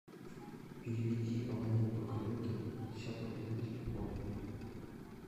переведи абоненту коллеге пятьдесят рублей на телефон